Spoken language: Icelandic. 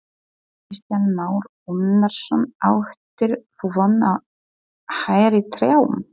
Kristján Már Unnarsson: Áttir þú von á hærri trjám?